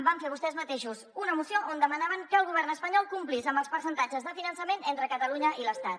van fer vostès mateixos una moció on demanaven que el govern espanyol complís amb els percentatges de finançament entre catalunya i l’estat